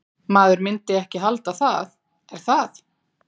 Maður myndi ekki halda það, er það?